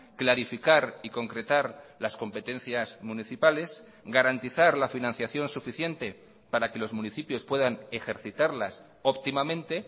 clarificar y concretar las competencias municipales garantizar la financiación suficiente para que los municipios puedan ejercitarlas óptimamente